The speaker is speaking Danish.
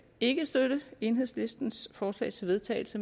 ikke støtte enhedslistens forslag til vedtagelse